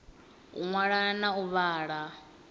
u ṅwala na u vhala